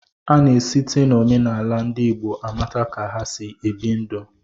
Ana-esite n'omenala ndị Igbo amata ka ha si ebi ndụ.